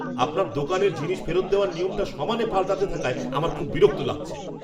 আপনার দোকানে জিনিস ফেরত দেওয়ার নিয়মটা সমানে পাল্টাতে থাকায় আমার খুব বিরক্ত লাগছে।